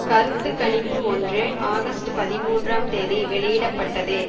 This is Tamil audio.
கருத்து கணிப்பு ஒன்று ஆகஸ்ட் பதிமூன்றாம் தேதி வெளியிட பட்டது